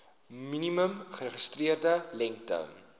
minimum geregistreerde lengte